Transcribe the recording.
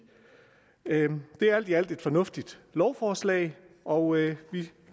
det er alt i alt et fornuftigt lovforslag og vi